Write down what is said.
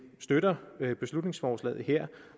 støtter beslutningsforslaget her